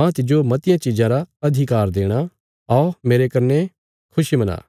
माह तिज्जो मतियां चिज़ां रा अधिकार देणा औ कने मेरने खुशी मना